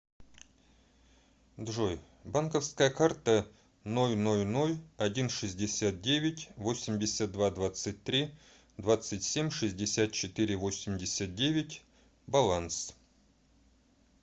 джой банковская карта ноль ноль ноль один шестьдесят девять восемьдесят два двадцать три двадцать семь шестьдесят четыре восемьдесят девять баланс